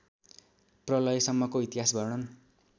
प्रलयसम्मको इतिहास वर्णन